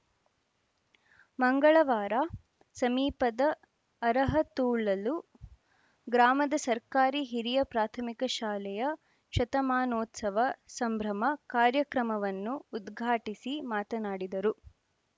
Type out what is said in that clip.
ಮಂಗಳವಾರ ಸಮೀಪದ ಅರಹತೊಳಲು ಗ್ರಾಮದ ಸರ್ಕಾರಿ ಹಿರಿಯ ಪ್ರಾಥಮಿಕ ಶಾಲೆಯ ಶತಮಾನೋತ್ಸವ ಸಂಭ್ರಮ ಕಾರ್ಯಕ್ರಮವನ್ನು ಉದ್ಘಾಟಿಸಿ ಮಾತನಾಡಿದರು